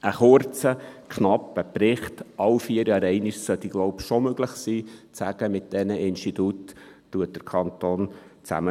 Ein kurzer knapper Bericht, alle vier Jahre einmal, sollte wohl schon möglich sein, um zu sagen: «Mit diesen Instituten arbeitet der Kanton zusammen.